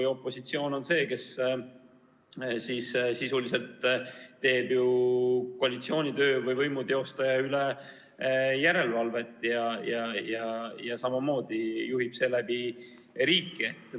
Ja opositsioon on see, kes sisuliselt teeb koalitsiooni töö või võimu teostamise üle järelevalvet ja samamoodi juhib seeläbi riiki.